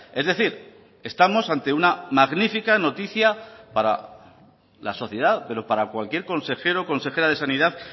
es decir estamos ante una magnífica noticia para la sociedad pero para cualquier consejero consejera de sanidad